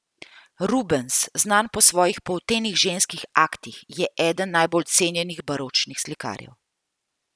Rubens, znan po svojih poltenih ženskih aktih, je eden najbolj cenjenih baročnih slikarjev.